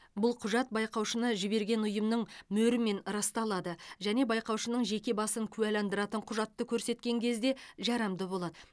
бұл құжат байқаушыны жіберген ұйымның мөрімен расталады және байқаушының жеке басын куәландыратын құжатты көрсеткен кезде жарамды болады